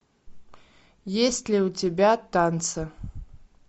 есть ли у тебя танцы